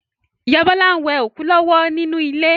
Ìyá Bọ́lá n we òkú lọ́wọ́ nínú ilé